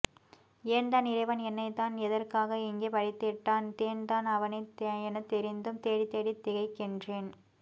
ஏன்தான் இறைவன் என்னைத்தான் எதற்காய் இங்கே படைத்திட்டான் தேன்தான் அவனே எனத்தொிந்தும் தேடித் தேடித் திகைக்கின்றேன்